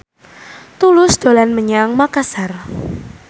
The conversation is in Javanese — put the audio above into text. Tulus dolan menyang Makasar